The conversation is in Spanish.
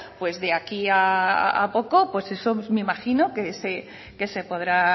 pues de aquí a poco pues eso me imagino que se podrá